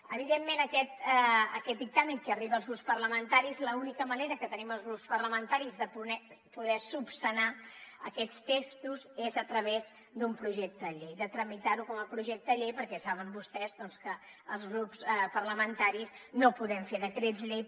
evidentment aquest dictamen que arriba als grups parlamentaris l’única manera que tenim els grups parlamentaris de poder esmenar aquests textos és a través d’un projecte de llei de tramitarho com a projecte de llei perquè saben vostès que els grups parlamentaris no podem fer decrets llei